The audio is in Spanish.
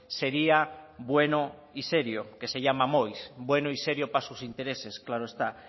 sería bueno y serio que se llama moix bueno y serio para sus intereses claro está